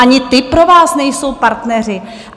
Ani ty pro vás nejsou partneři?